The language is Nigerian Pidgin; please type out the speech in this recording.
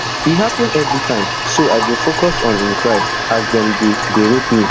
e happun evri time so i go focus on im cry as dem dey dey rape me